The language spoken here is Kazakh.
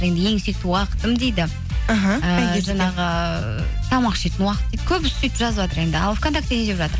енді ең сүйікті уақытым дейді жаңағы тамақ ішетін уақыт дейді көбісі сөйтіп жазыватыр енді ал вконтакте не деп жатыр